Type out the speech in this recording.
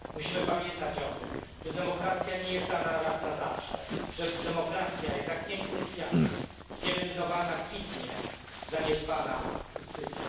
Musimy pamiętać o tym, że demokracja nie jest dana raz na zawsze, że demokracja jest jak piękny kwiat pielęgnowana kwitnie, zaniedbana usycha.